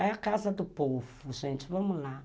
É a casa do povo, gente, vamos lá.